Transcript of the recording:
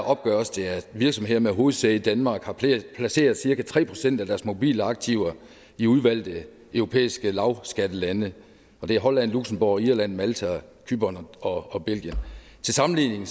opgøres det at virksomheder med hovedsæde i danmark har placeret cirka tre procent af deres mobile aktiver i udvalgte europæiske lavskattelande og det er holland luxembourg irland malta cypern og og belgien til sammenligning